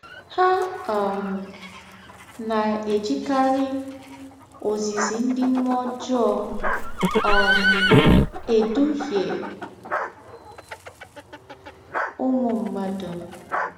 Ha um na - ejikarị “ ozizi ndị mmụọ ọjọọ ” um edụhịe ụmụ mmadụ.